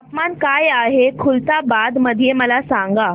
तापमान काय आहे खुलताबाद मध्ये मला सांगा